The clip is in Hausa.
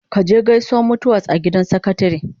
Ka je Gausuwa mutu was a gidan sakatare?